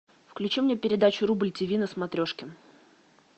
включи мне передачу рубль тиви на смотрешке